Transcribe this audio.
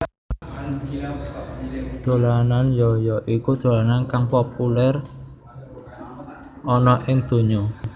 Dolanan yo yo iku dolanan kang populèr ana ing donya